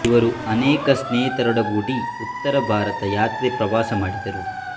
ಇವರು ಅನೇಕ ಸ್ನೇಹಿತರೊಡಗೂಡಿ ಉತ್ತರ ಭಾರತ ಯಾತ್ರೆ ಪ್ರವಾಸ ಮಾಡಿದರು